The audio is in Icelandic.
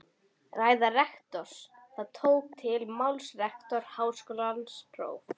Ræða rektors Þá tók til máls rektor Háskólans próf.